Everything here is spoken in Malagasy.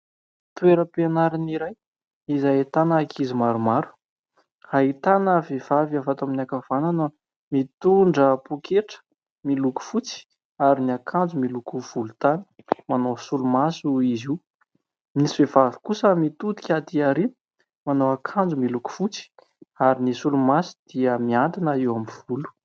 Toeram-pianarana iray izay ahitana ankizy maromaro. Ahitana vehivavy avy ato amin'ny ankavanana, mitondra pôketra miloko fotsy ary ny akanjo miloko volontany. Manao solomaso izy io. Misy vehivavy kosa mitodika aty aoriana, manao akanjo miloko fotsy ary ny solomaso dia mihantona eo amin'ny volo.